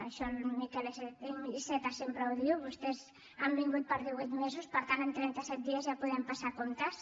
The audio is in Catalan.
això el miquel iceta sempre ho diu vostès han vingut per divuit mesos per tant en trenta set dies ja podem passar comptes